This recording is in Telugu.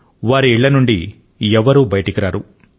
వారి ఇళ్ళ నుండి ఎవ్వరూ బయటకు రారు